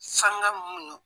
Sanga mun no